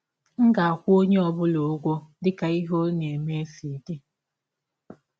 M ga - akwụ ọnye ọ bụla ụgwọ dị ka ihe ọ na - eme si dị.